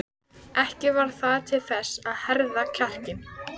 Ekki varð það til þess að herða kjarkinn.